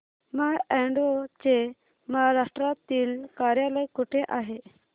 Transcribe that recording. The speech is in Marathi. माय अॅडवो चे महाराष्ट्रातील कार्यालय कुठे आहे